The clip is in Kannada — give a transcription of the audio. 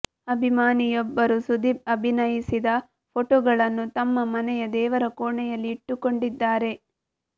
ಅಭಿಮಾನಿಯೊಬ್ಬರು ಸುದೀಪ್ ಅಭಿನಯಿಸಿದ ಫೋಟೋಗಳನ್ನು ತಮ್ಮ ಮನೆಯ ದೇವರ ಕೋಣೆಯಲ್ಲಿ ಇಟ್ಟುಕೊಂಡಿದ್ದಾರೆ